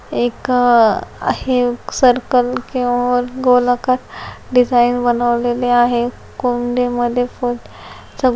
एक हे एक सर्कल किंवा गोलाकार डिज़ाइन बनवलेले आहे. कुंडीमध्ये --